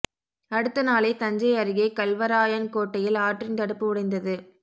அடுத்த நாளே தஞ்சை அருகே கல்வராயன்கோட்டையில் ஆற்றின் தடுப்பு உடைந்தது